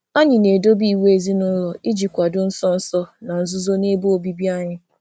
Anyị na-edobe iwu ezinụlọ um iji um iji dozie ịbụchaghị na nzuzo um n'ime ohere anyị na-ebikọ.